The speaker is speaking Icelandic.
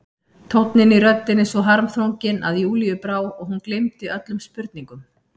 Tónninn í röddinni svo harmþrunginn að Júlíu brá og hún gleymdi öllum spurningum.